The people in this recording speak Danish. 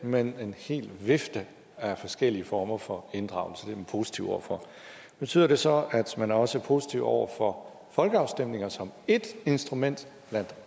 men en hel vifte af forskellige former for inddragelse det er man positive over for betyder det så at man også er positive over for folkeafstemninger som et instrument blandt